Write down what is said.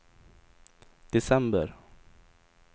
december